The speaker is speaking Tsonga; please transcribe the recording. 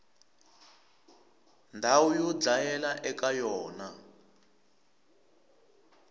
ndhawu yo dlayela eka yona